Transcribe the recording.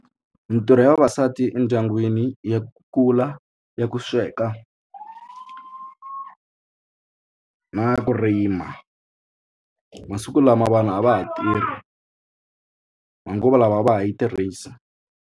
Mitirho ya vavasati endyangwini ya kukula i ya ku sweka na ya ku rima masiku lama vanhu a va ha tirhi manguva lawa a va ha yi tirhisa.